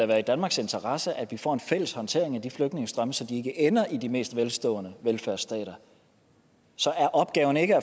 være i danmarks interesse at vi får en fælles håndtering af de flygtningestrømme så de ikke ender i de mest velstående velfærdsstater så er opgaven ikke at